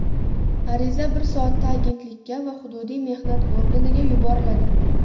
Ariza bir soatda agentlikka va hududiy mehnat organiga yuboriladi.